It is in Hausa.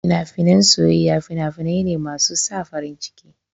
Fina-finan soyayya fina-finai ne masu sa farin ciki.